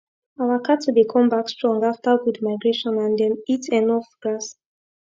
our cattle dey come back strong after good migration and them eat enough grass